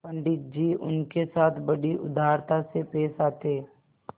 पंडित जी उनके साथ बड़ी उदारता से पेश आते